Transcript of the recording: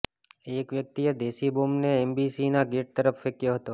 એક વ્યક્તિએ દેશી બોમ્બને એમ્બસીના ગેટ તરફ ફેંક્યો હતો